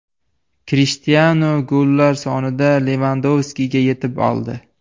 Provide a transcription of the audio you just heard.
Krishtianu gollar sonida Levandovskiga yetib oldi.